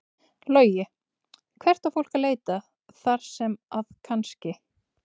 Logi: Og hvert á fólk að leita þar sem að kannski?